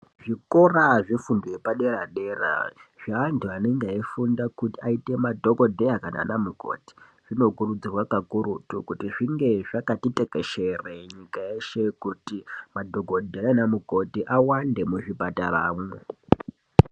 Zvikora zvefundo yepadera dera nevantu vane ngeefunda kuti aite madhokodheya nanamukoti zvino kurudzirwa kuti zvinge zvakati tekeshere nyika yeshe kuti madhokodheya nanamukoti awande munyika mwo.